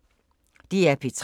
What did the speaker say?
DR P3